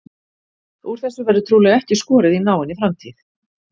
Úr þessu verður trúlega ekki skorið í náinni framtíð.